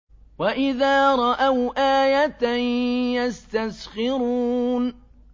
وَإِذَا رَأَوْا آيَةً يَسْتَسْخِرُونَ